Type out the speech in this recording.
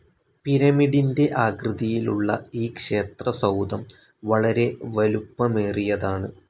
പിരമിഡിൻ്റെ ആകൃതിയിലുള്ള ഈ ക്ഷേത്രസൗധം വളരെ വലുപ്പമേറിയതാണ്